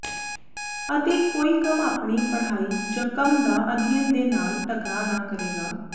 ਅਤੇ ਕੋਈ ਕੰਮ ਆਪਣੀ ਪੜ੍ਹਾਈ ਜ ਕੰਮ ਦਾ ਅਧਿਐਨ ਦੇ ਨਾਲ ਟਕਰਾ ਨਾ ਕਰੇਗਾ